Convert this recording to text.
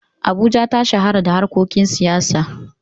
Abuja ta shahara da harkokin siyasa.